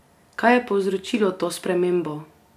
Kaj je povzročilo to spremembo?